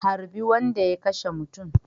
Harbi wanda ya kashemutun